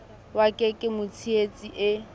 wa ka ke motshehetsi e